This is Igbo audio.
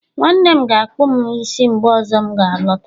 nwanne m ga-akpụ m isi mgbe ọzọ m ga alọta